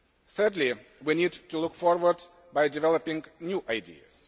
Thirdly, we need to look forward by developing new ideas.